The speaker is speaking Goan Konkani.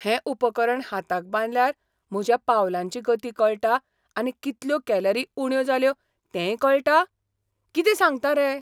हें उपकरण हाताक बांदल्यार म्हज्या पावलांची गती कळटा आनी कितल्यो कॅलरी उण्यो जाल्यो तेंय कळटा? कितें सांगता रे?